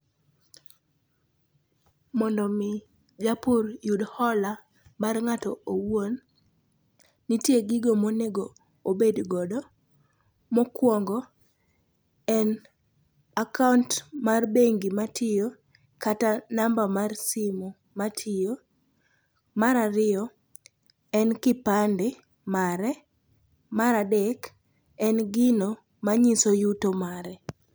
Mondo omi japur yud hola mar ng'ato owuon, nitie gigo monego obed godo. Mokwongo en akaont mar bengi matiyo kata namba mar simu matiyo. Mar ariyo en kipande mare. Mar adek en gino manyiso yuto mare.